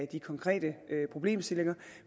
de konkrete problemstillinger